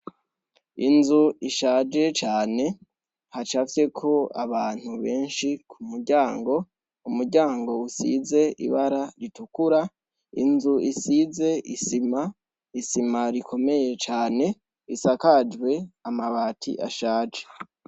Inzu ishaje cane, hacafyeko abantu benshi k umuryango, umuryango usiz' ibara ritukura, inz' size isima, isima rikomeye cane, isakajw' amabat' ashaje zikomeye cane isakajwe